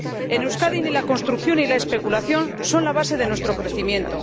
En Euskadi ni la construcción ni la especulación son la base de nuestro crecimiento.